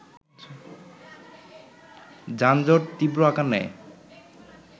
যানজট তীব্র আকার নেয়